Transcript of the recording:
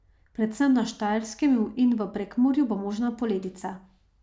Predvsem na Štajerskem in v Prekmurju bo možna poledica.